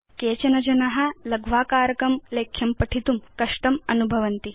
केचन जना लघ्वाकारकं लेख्यं पठितुं कष्टम् अनुभवन्ति